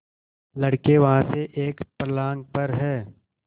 लड़के वहाँ से एक फर्लांग पर हैं